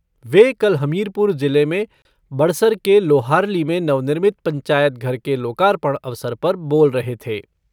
वे कल हमीरपुर जिले में बड़सर के लोहारली में नवनिर्मित पंचायत घर के लोकार्पण अवसर पर बोल रहे थे।